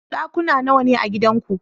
Ɗakuna nawane a gidanku?